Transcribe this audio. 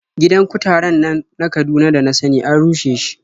Gidan kutaren nan na Kaduna da na sani an rushe shi.